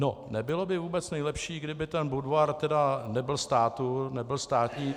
No nebylo by vůbec nejlepší, kdyby ten Budvar tedy nebyl státní?